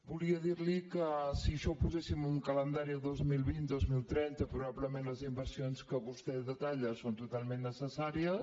volia dir li que si això ho poséssim en un calendari a dos mil vint dos mil trenta probablement les inversions que vostè detalla són totalment necessàries